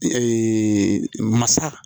masa